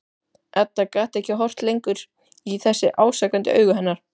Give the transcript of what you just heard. Edda gat ekki horft lengur í þessi ásakandi augu hennar.